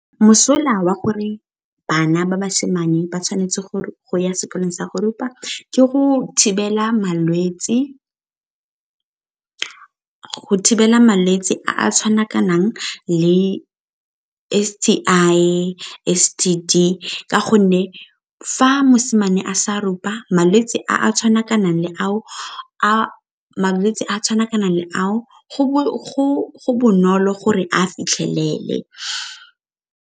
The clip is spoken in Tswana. Mosola wa gore bana ba basimane ba tshwanetse go ya sekolong sa go rupa ke go thibela malwetse a a tshwanakanang le S_T_I, S_T_D ka gonne fa mosimane a sa rupa malwetse a tshwanakanang le ao go bonolo gore a fitlhelele.